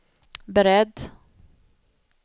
beredd